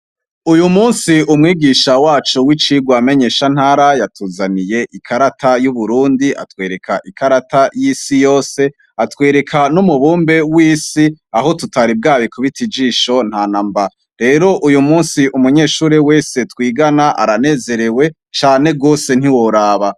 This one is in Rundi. Uyu musi unwigisha wacu wikimenyesha ntara yatuzaniye ikarata yuburundi atwereka ikarata yisi yose atwereka numubumbe wisi aho tutari bwarikubite nijisho ntanamba rero uyo musi umunyeshure wese twigana aranezerewe cane gose ntiworaba